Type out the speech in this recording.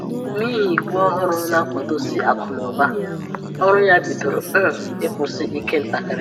N’ihi iwu òhùrù na-akwado si akụ́ na ụ̀ba, ọrụ ya bidoro um ịkwụsị ike ntakiri